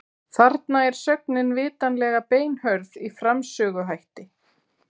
Þarna er sögnin vitanlega beinhörð í framsöguhætti.